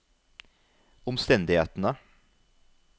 omstendighetene